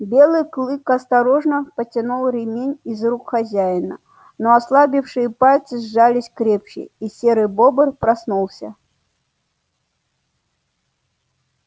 белый клык осторожно потянул ремень из рук хозяина но ослабевшие пальцы сжались крепче и серый бобр проснулся